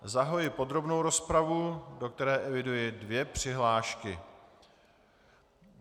Zahajuji podrobnou rozpravu, do které eviduji dvě přihlášky.